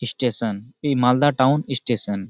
Station এই Malda town station.